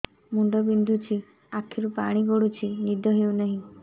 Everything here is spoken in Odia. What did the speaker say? ମୁଣ୍ଡ ବିନ୍ଧୁଛି ଆଖିରୁ ପାଣି ଗଡୁଛି ନିଦ ହେଉନାହିଁ